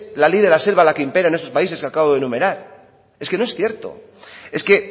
la ley de la selva la que impera en esos países que acabo de numerar es que no es cierto es que